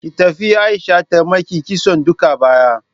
Ki tafi Aisha ta maki kitson duka baya.